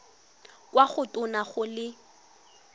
kwa go tona go le